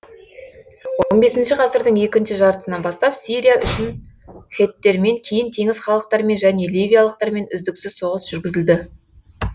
екінші жартысынан бастап сирия үшін хеттермен кейін теңіз халықтарымен және ливиялықтармен үздіксіз соғыс жүргізілді